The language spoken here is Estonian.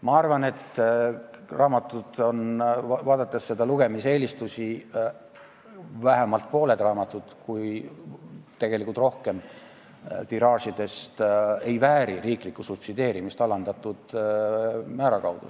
Ma arvan, vaadates lugemiseelistusi, et vähemalt pool kui mitte rohkem raamatutiraažidest ei vääri riiklikku subsideerimist alandatud määra kaudu.